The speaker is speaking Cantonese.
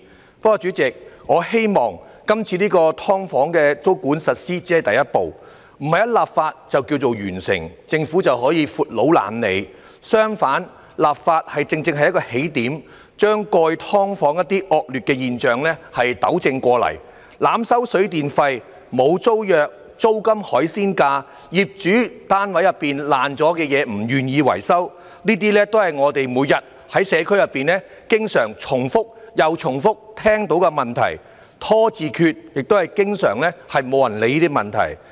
不過，主席，我希望今次就"劏房"實施租管只是第一步，不是一經立法便告完成，政府便可以"闊佬懶理"；相反，立法正正是一個起點，把過去"劏房"的一些惡劣現象糾正過來，例如濫收水電費、沒有租約、租金"海鮮價"，以及業主不願維修單位內損壞了的東西，這些都是我們每天在社區內經常重複又重複聽到的問題，"拖字訣"，亦是經常沒有人理會的問題。